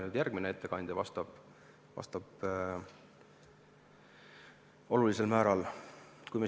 Ma arvan, et nendele küsimustele vastab olulisel määral järgmine ettekandja.